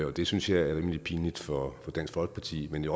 og det synes jeg er rimelig pinligt for dansk folkeparti men det